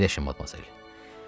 Əyləşin, Madmazel.